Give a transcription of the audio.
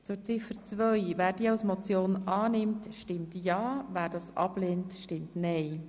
Wer Ziffer 2 der Motion annimmt, stimmt ja, wer diese ablehnt, stimmt nein.